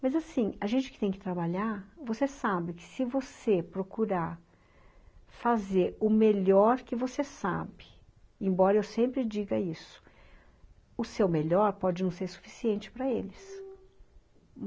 Mas assim, a gente que tem que trabalhar, você sabe que se você procurar fazer o melhor que você sabe, embora eu sempre diga isso, o seu melhor pode não ser suficiente para eles.